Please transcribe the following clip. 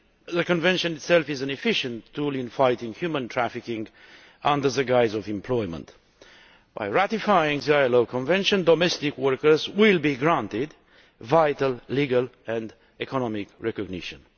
The Convention itself is an efficient tool in fighting human trafficking under the guise of employment. By ratifying the ILO Convention domestic workers will be granted vital legal and economic recognition.